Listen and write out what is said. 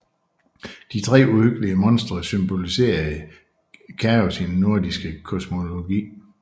De tre uhyggelige monstre symboliserede chaos i den nordiske kosmologi